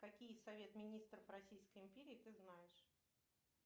какие совет министров российской империи ты знаешь